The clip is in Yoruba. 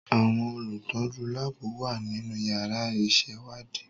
Àwọn olùtọ́jú láàbù wà nínú yàrá ìṣèwádìí.